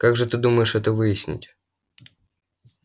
как же ты думаешь это выяснить